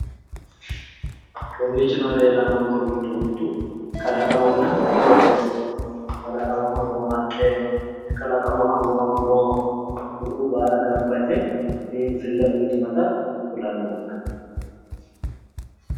Kowiicho noohu giddoyi leellannonkehu mittu kalqamanna qooxeessaho, kalaqamaho noo haqqe, muro kuriuu baalu gamba yite biinfille uuyitinnotq kulanni noonke.